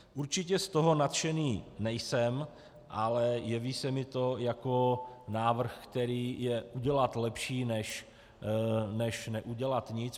Určitě z toho nadšený nejsem, ale jeví se mi to jako návrh, který je udělat lepší, než neudělat nic.